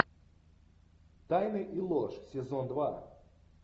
тайны и ложь сезон два